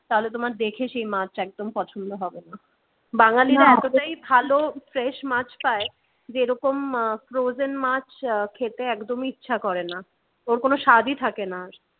তাহলে তোমার দেখে সেই মাছ একদম পছন্দ হবে না বাঙালিরা এতটাই ভালো fresh মাছ পায় যেরকম frozen মাছ খেতে একদমই ইচ্ছে করে না। ওর কোন সাধই থাকে না আর